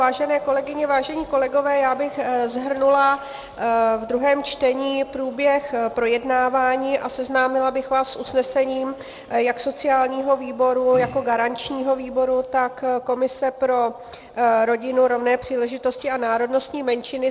Vážené kolegyně, vážení kolegové, já bych shrnula v druhém čtení průběh projednávání a seznámila bych vás s usnesením jak sociálního výboru jako garančního výboru, tak komise pro rodinu, rovné příležitosti a národnostní menšiny.